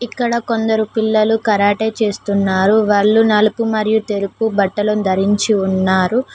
ఇక్కడ కొందరు పిల్లలు కరాటే చేస్తున్నారు వాళ్ళు నలుపు మరియు తెలుపు బట్టలను ధరించి ఉన్నారు.